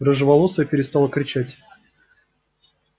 рыжеволосая перестала кричать